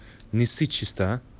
не ссы чисто